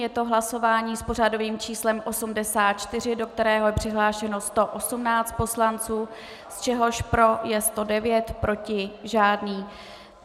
Je to hlasování s pořadovým číslem 84, do kterého je přihlášeno 118 poslanců, z čehož pro je 109, proti žádný.